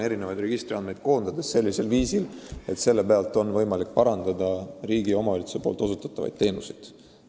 Eri registrite andmeid koondades on võimalik riigi ja omavalitsuse osutatavaid teenuseid parandada.